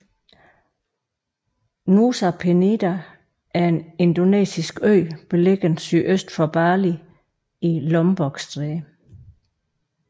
Nusa Penida er en indonesisk ø beliggende sydøst for Bali i Lombokstrædet